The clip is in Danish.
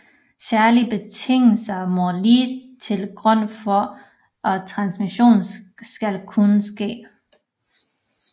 Særlige betingelser må ligge til grund for at transmission skal kunne ske